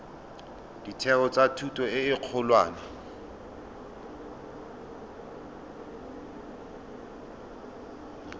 ditheo tsa thuto e kgolwane